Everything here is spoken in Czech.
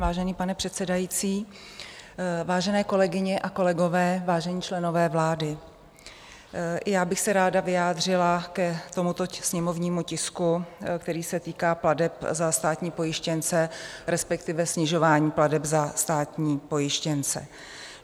Vážený pane předsedající, vážené kolegyně a kolegové, vážení členové vlády, já bych se ráda vyjádřila k tomuto sněmovnímu tisku, který se týká plateb za státní pojištěnce, respektive snižování plateb za státní pojištěnce.